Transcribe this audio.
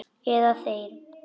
Eða þeir.